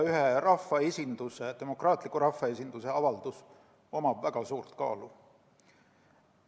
Ühe demokraatliku rahvaesinduse avaldus omab väga suurt kaalu.